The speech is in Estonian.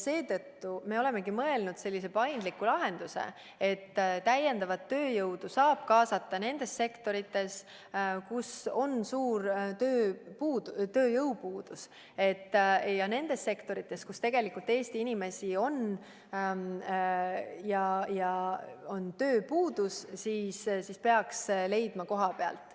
Seetõttu me olemegi mõelnud sellise paindliku lahenduse, et täiendavat tööjõudu saab kaasata nendes sektorites, kus on suur tööjõupuudus, aga nendes sektorites, kus tegelikult Eesti inimesi on ja on tööpuudus, peaks tööjõudu leidma kohapealt.